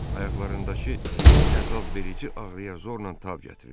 Ayaqlarındakı əzabverici ağrıya zorla tab gətirirdi.